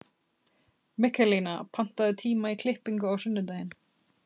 Mikaelína, pantaðu tíma í klippingu á sunnudaginn.